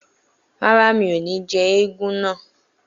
Rárá, mi ò ní jẹ́ éégún náà